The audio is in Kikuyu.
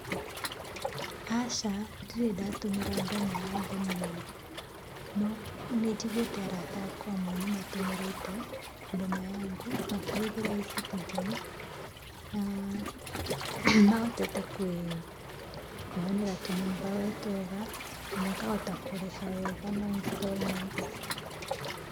Aca. Ndirĩ ndatũmĩra Boma Yangu niĩ no nĩnjiguĩte arata akwa amwe nĩ matũmĩrĩte Boma Yangu makĩhũthĩra E-citizen na nĩmahotete kũĩonera tũnyũmba we twega na makahota kũrĩha wega na installments.